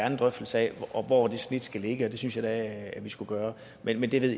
en drøftelse af hvor det snit skal ligge og det synes jeg da vi skulle gøre men det ved